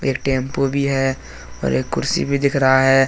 एक टेम्पो भी है और एक कुर्सी भी दिख रहा है।